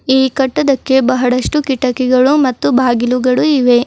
ಈ ಕಟ್ಟಡಕ್ಕೆ ಬಹಳಷ್ಟು ಕಿಟಕಿಗಳು ಮತ್ತು ಬಾಗಿಲುಗಳು ಇವೆ.